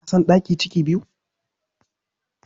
Ka san ɗaki ciki biyu?